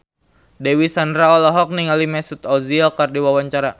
Dewi Sandra olohok ningali Mesut Ozil keur diwawancara